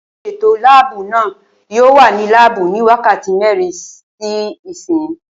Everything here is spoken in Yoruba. Olùsètò láàbù náà yóò wà ní láàbù ní wákàtí mẹ́rin sí ìsín